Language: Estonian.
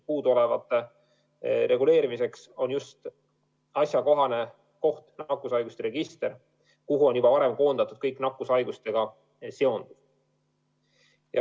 Puuduoleva reguleerimiseks on asjakohane koht nakkushaiguste register, kuhu on juba varem koondatud kõik nakkushaigustega seonduv.